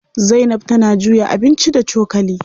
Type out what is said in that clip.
Zainab tana juya abinci da cokali.